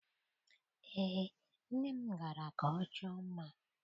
Eé, nne m gara ka ọ chọọ mma